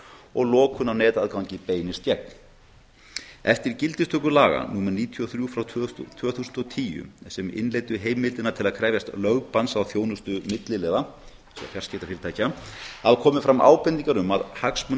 og lokun á netaðgangi beinist gegn eftir gildistöku laga númer níutíu og þrjú frá tvö þúsund og tíu sem innleiddu heimildina til að krefjast lögbanns á þjónustu milliliða eins og fjarskiptafyrirtækja hafa komið fram ábendingar um að hagsmuna